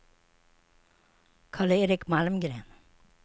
Karl-Erik Malmgren